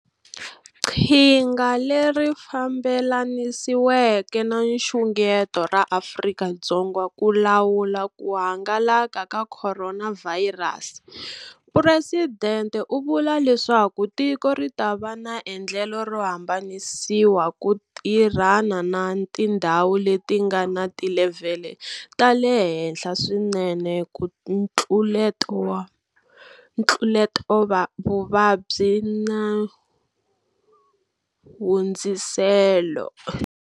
Qhinga leri fambelanisiweke na nxungeto ra Afrika-Dzonga ku lawula ku hangalaka ka Khoronavhayirasi, COVID-19, Phuresidente u vula leswaku tiko ri ta va na endlelo ro hambanisiwa ku tirhana na tindhawu leti ti nga na tilevhele ta le henhla swinene ta ntluletavuvabyi na hundziselo.